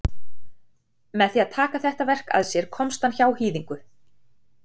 með því að taka þetta verk að sér komst hann hjá hýðingu